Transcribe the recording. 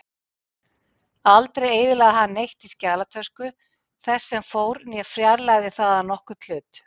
Aldrei eyðilagði hann neitt í skjalatösku þess sem fór né fjarlægði þaðan nokkurn hlut.